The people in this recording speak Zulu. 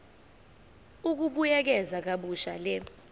ukubuyekeza kabusha le